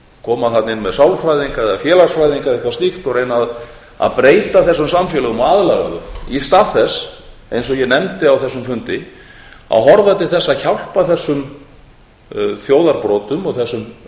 koma þarna inn með sálfræðinga eða félagsfræðinga eða eitthvað slíkt og reyna að breyta þessum samfélögum og aðlaga þau í stað þess eins og ég nefndi á þessum fundi að horfa til þess að hjálpa þessum þjóðarbrota og